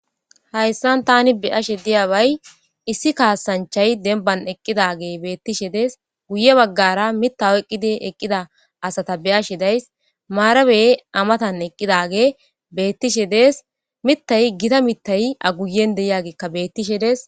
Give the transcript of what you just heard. hayssan tani beyashe diyabay issi kaasanchay denban eqqidage beettishe dees guye baggara mita oyiqqidi eqqida asata beyashe days maarabey amatan eqqidage bettishe dees mitay gita mittay a guyen de'iyagekka bettishe dees